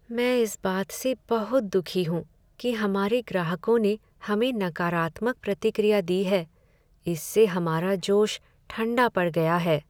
मैं इस बात से बहुत दुखी हूँ कि हमारे ग्राहकों ने हमें नकारात्मक प्रतिक्रिया दी है। इससे हमारा जोश ठंडा पड़ गया है।